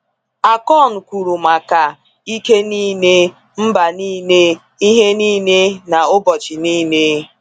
Akon kwuru maka “ike niile,” “mba niile,” “ihe niile,” na “ụbọchị niile.”